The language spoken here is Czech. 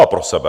A pro sebe.